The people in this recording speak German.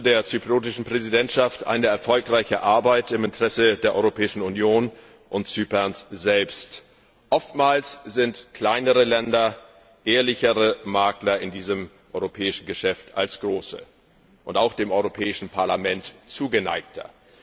Ich wünsche der zypriotischen Präsidentschaft eine erfolgreiche Arbeit im Interesse der Europäischen Union und Zyperns selbst. Oftmals sind kleinere Länder ehrlichere Makler in diesem europäischen Geschäft als große und auch dem Europäischen Parlament zugeneigter.